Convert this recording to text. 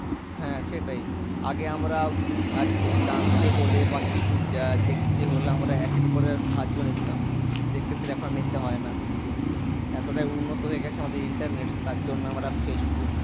হ্যাঁ সেটাই আগে আমরা কিছু জানতে হলে বা কিছু দেখতে হলে আমরা একে অপরের সাহায্য নিতাম সেক্ষেত্রে এখন আর নিতে হয়না এতোটাই উন্নত হয়ে গেছে আমাদের internet তার জন্য আমরা ফেসবুক